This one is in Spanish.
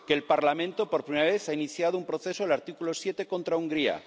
que el Parlamento, por primera vez, ha iniciado un proceso del artículo 7 contra Hungría